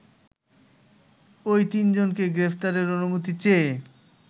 ওই তিনজনকে গ্রেপ্তারের অনুমতি চেয়ে